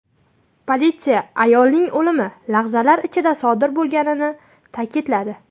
Politsiya ayolning o‘limi lahzalar ichida sodir bo‘lganini ta’kidladi.